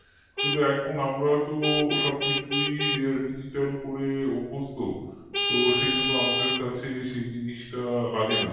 কিন্তু এখন তো সবকিছুই আমরা digital করে অভ্যস্ত তো আমাদের কাছে সেই জিনিসটা লাগেনা